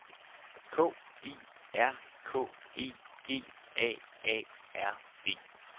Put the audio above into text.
K I R K E G A A R D